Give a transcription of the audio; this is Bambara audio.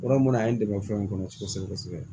Yɔrɔ mun na a ye n dɛmɛ fɛn kɔnɔ kosɛbɛ kosɛbɛ